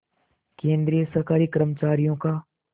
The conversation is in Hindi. केंद्रीय सरकारी कर्मचारियों का